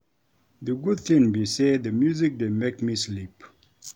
The good thing be say the music dey make me sleep